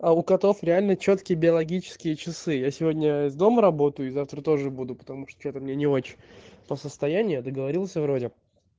а у котов реально чёткие биологические часы я сегодня из дома работаю и завтра тоже буду потому что-то мне не очень по состоянию я договорился вроде